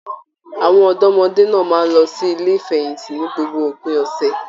Àwọn ọdọmọde náà máa n lọ sí ilé ìfẹ̀yíntì ní gbogbo òpin ọsẹ.